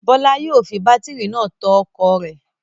Bọ́lá yóò fi bátírí náà tan ọkọ̀ rẹ̀.